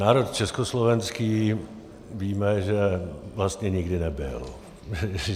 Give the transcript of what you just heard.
Národ československý víme, že vlastně nikdy nebyl.